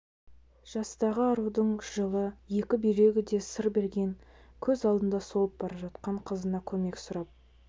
жастағы арудың жылы екі бүйрегі де сыр берген көз алдында солып бара жатқан қызына көмек сұрап